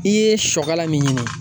I ye sɔ kala min ɲini